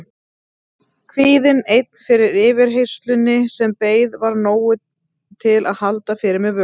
Kvíðinn einn fyrir yfirheyrslunni sem beið var nógur til að halda fyrir mér vöku.